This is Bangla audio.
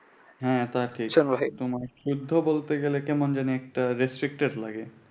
হ্যাঁ তো আর কি সবাই সেটা ও বলতে গেলে কেমন জানি একটা respected লাগে।